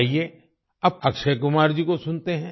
आइए अब अक्षय कुमार जी को सुनते हैं